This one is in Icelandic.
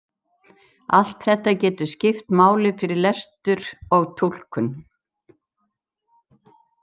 Allt þetta getur skipt máli fyrir lestur og túlkun.